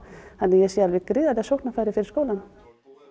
þannig að ég sé alveg gríðarleg sóknarfæri fyrir skólann